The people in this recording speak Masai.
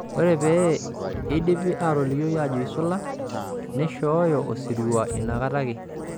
Ore pee eidipi aitalokio ajo eisula, neishooyo osirua inakata ake.